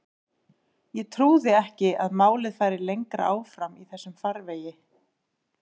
Ég trúði ekki að málið færi lengra áfram í þessum farvegi.